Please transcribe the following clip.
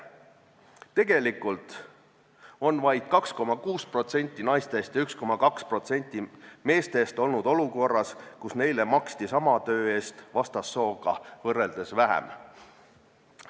Tegelikult on vaid 2,6% naistest ja 1,2% meestest olnud olukorras, kus neile maksti sama töö eest vastassooga võrreldes vähem palka.